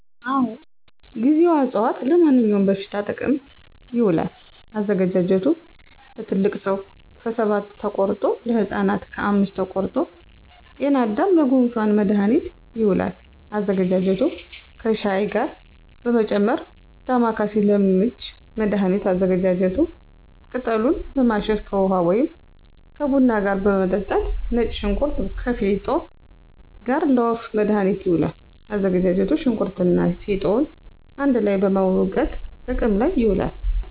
አወ ;ጊዜዋ አፅዋት-ለማንኛውም በሽታ ጥቅም ይውላል። አዘገጃጀቱ ለትልቅ ሰው ከሰባት ተቆርጦ, ለህፃናት ከአምስት ተቆርጦ -ጤናዳም :ለጉንፋን መድሀኒት ይውላል አዘገጃጀቱ ከሻይ ጋር በመጨመር -ዳማከሴ: ለምች መድሀኒት አዘገጃጀቱ ቅጠሉን በማሸት ከውሀ ወይም ከቡና ጋር መጠጣት -ነጭ ሽንኩርት ከፌጦ ጋር: ለወፍ መድሀኒት ይውላል አዘገጃጀቱ ሸንኩርቱንና ፌጦውን አንድ ላይ በመውገጥ ጥቅም ላይ ይውላል